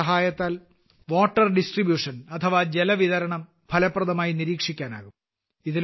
ഇതിന്റെ സഹായത്താൽ water distribution ഫലപ്രദമായി നിരീക്ഷിക്കാനാകും